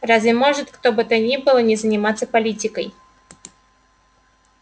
разве может кто бы то ни было не заниматься политикой